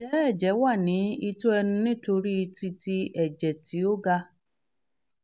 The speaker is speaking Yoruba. njẹ ẹjẹ wa ni itọ ẹnu nitori titẹ ẹjẹ ti o ga?